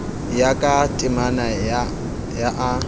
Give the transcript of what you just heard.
ya ka temana ya a